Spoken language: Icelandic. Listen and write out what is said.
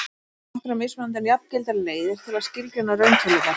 Til eru nokkrar mismunandi en jafngildar leiðir til að skilgreina rauntölurnar.